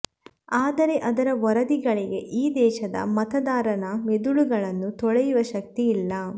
ಆದರೆ ಆದರ ವರದಿಗಳಿಗೆ ಈ ದೇಶದ ಮತದಾರನ ಮಿದುಳನ್ನು ತೊಳೆಯುವ ಶಕ್ತಿ ಇಲ್ಲ